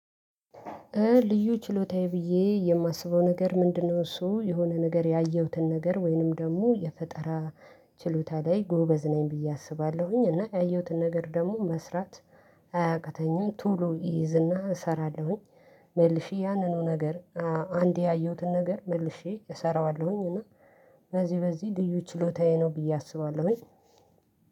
ልዩ ችሎታዬ ብዬ የማስበው ነገር ምንድነው? እሱ የሆነ ነገር ያየሁትን ነገር ወይንም ደግሞ የፈጠራ ችሎታ ላይ ጎበዝ ነኝ ብዬ አስባለሁኝ እና ያየሁትን ነገር ደግሞ መስራት አያቅተኝም ቶሎ ይይዝና እሰራለሁኝ። መልሼ ያንኑ ነገር። አንዴ ያየሁትን ነገር መልሼ እሰራዋለሁኝ። እና በዚህ በዚህ ልዩ ችሎታዬ ነው ብዬ አስባለሁኝ።